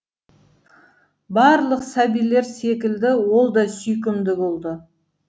барлық сәбилер секілді ол да сүйкімді болды